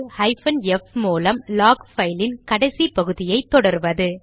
hyphen F மூலம் log பைலின் கடைசி பகுதியை தொடர்வது